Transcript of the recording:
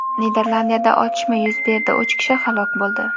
Niderlandiyada otishma yuz berdi, uch kishi halok bo‘ldi.